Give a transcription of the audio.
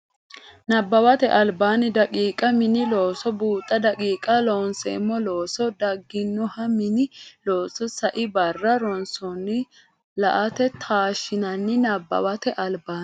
Nabbawate Albaanni daqiiqa Mini looso buuxa daqiiqa Loonseemmo loosse dagginoha mini looso sai barra ronsummo la anni taashshinsa Nabbawate Albaanni.